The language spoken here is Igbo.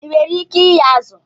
I nwere ike ighe azụ?